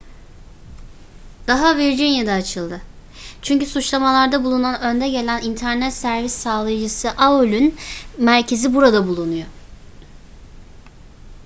dava virginia'da açıldı çünkü suçlamalarda bulunan önde gelen internet servis sağlayıcısı aol'ün merkezi burada bulunuyor